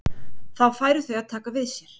Þá færu þau að taka við sér.